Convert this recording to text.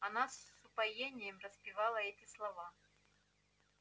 она с упоением распевала эти слова